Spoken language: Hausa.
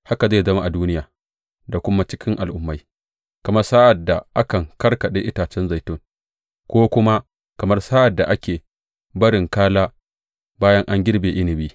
Haka zai zama a duniya da kuma a cikin al’ummai, kamar sa’ad da akan karkaɗe itacen zaitun, ko kuma kamar sa’ad da ake barin kala bayan an girbe inabi.